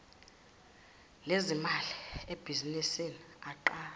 lezimali ebhizinisini aqashwe